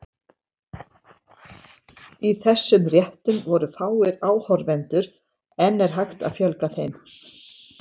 Í þessum réttum voru fáir áhorfendur, en er hægt að fjölga þeim?